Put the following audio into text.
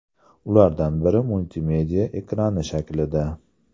Ulardan biri multimedia ekrani shaklida.